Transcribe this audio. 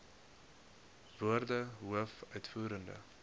woorde hoof uitvoerende